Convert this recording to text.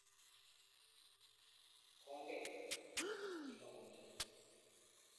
Kongen, kimakomi kityo.